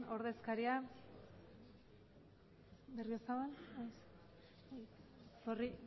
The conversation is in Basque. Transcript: ordezkaria